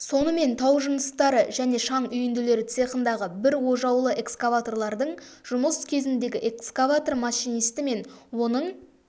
сонымен тау жыныстары және шаң үйінділері цехындағы бір ожаулы экскаваторлардың жұмыс кезіндегі экскаватор машинисті мен оның